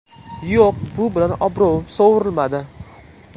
Yo‘q, bu bilan obro‘im sovurilmadi.